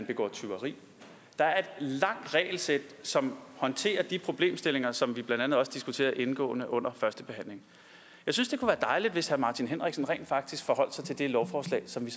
begå tyveri der er et langt regelsæt som håndterer de problemstillinger som vi blandt andet også diskuterede indgående under førstebehandlingen jeg synes det kunne dejligt hvis herre martin henriksen rent faktisk forholdt sig til det lovforslag som vi